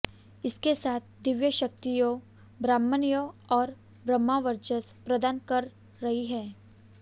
इसके साथ दिव्य शक्तियाँ ब्राह्मणत्व और ब्रह्मवचर्स प्रदान कर रही है